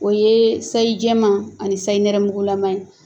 O ye sayi jɛman ani sayi nɛrɛmugula ma ye